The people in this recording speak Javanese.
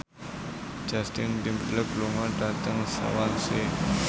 Justin Timberlake lunga dhateng Swansea